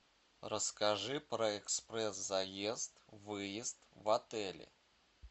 расскажи про экспресс заезд выезд в отеле